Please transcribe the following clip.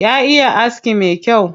Ya iya aski me kyau.